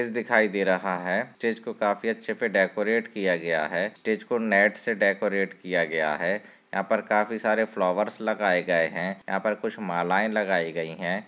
दिखाई दे रहा है स्टेज को काफी अछे से डेकोरेट किया गया है स्टेज को नेट से डेकोरेट किया गया है यहाँ पे काफी सारे फ्लावर्स लगाये गये है यहाँ पे कुछ मालाए लगाई गई है।